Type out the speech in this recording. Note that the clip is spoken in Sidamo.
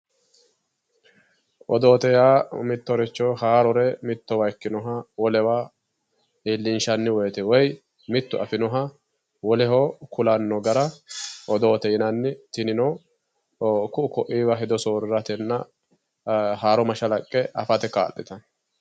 Odoote yaa mittoricho haarore mittowa ikkinoha wolewa iillinshanni woyite woy mittu afinoha woleho kulanno gara odoote yinanni tinino ku'u ko'iiwa hedo soorriratenna haaro mashalaqqe afate kaa'litanno